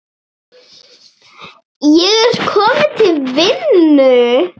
Ég er kominn til vinnu.